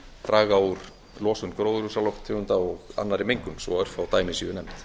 draga úr losun gróðurhúsalofttegunda og annarri mengun svo örfá dæmi séu nefnd